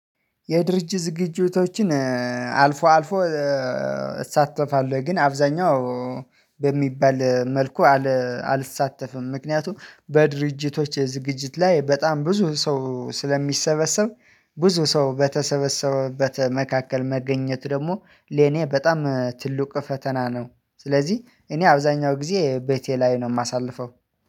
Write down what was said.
የድርጅት ዝግጅቶችን አልፎ አልፎ እሳተፋለሁ ወይ ግን አብዛኛው በሚባል መልኩ አልሳተፍም። ምክንያቱም በድርጅቶች የዝግጅት ላይ በጣም ብዙ ሰው ስለሚሰበሰብ ብዙ ሰው በተሰበሰበበት መካከል መገኘት ደግሞ ለኔ በጣም ትልቅ ፈተና ነው። ስለዚህ እኔ አብዛኛው ጊዜ ቤቴ ላይ ነው የማሳልፈው